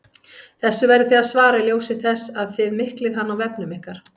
Þessu verðið þið að svara í ljósi þess að þið miklið hann á vefnum ykkar!